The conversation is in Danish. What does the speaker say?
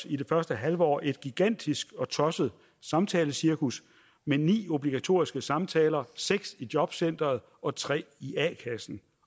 i det første halve år indføres et gigantisk og tosset samtalecirkus med ni obligatoriske samtaler seks i jobcenteret og tre i a kassen